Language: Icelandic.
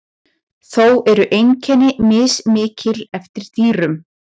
Þó eru einkenni mismikil eftir dýrum.